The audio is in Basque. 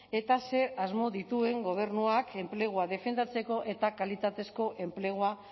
eta zer asmo dituen gobernuak enplegua defendatzeko eta kalitatezko enplegua